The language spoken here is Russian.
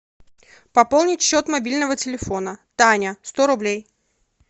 пополнить счет мобильного телефона таня сто рублей